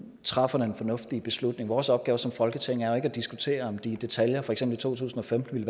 træffer den fornuftige beslutning vores opgave som folketing er ikke at diskutere om den i detaljer for eksempel i to tusind og femten